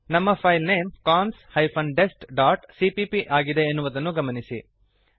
ನಮ್ಮ file name cons hyphen dest dot CPP ಆಗಿದೆ ಎನ್ನುವುದನ್ನು ಗಮನಿಸಿರಿ